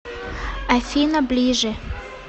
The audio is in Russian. афина ближе